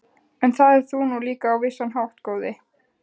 En það ert þú nú líka á vissan hátt, góði